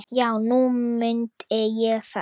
Já, nú mundi ég það.